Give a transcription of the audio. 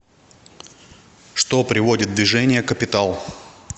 что приводит в движение капитал